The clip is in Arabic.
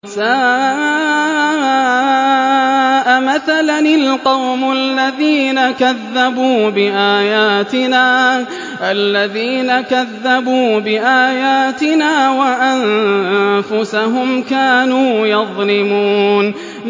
سَاءَ مَثَلًا الْقَوْمُ الَّذِينَ كَذَّبُوا بِآيَاتِنَا وَأَنفُسَهُمْ كَانُوا يَظْلِمُونَ